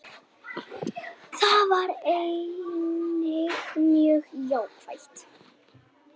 Það var einnig mjög jákvætt